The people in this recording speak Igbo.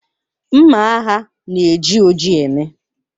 Mma agha na-eji oji eme.